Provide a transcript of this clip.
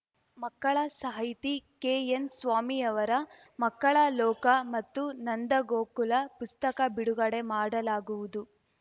ಮಕ್ಕಳ ಸಾಹಿತಿ ಕೆಎನ್‌ಸ್ವಾಮಿಯವರ ಮಕ್ಕಳ ಲೋಕ ಮತ್ತು ನಂದ ಗೋಕುಲ ಪುಸ್ತಕ ಬಿಡುಗಡೆ ಮಾಡಲಾಗುವುದು